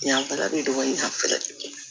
Yanfɛla bɛ dɔgɔnin ya